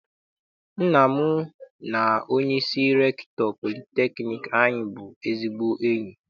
Nna m na onyeisi rektọ politekniik anyị bụ ezigbo enyi.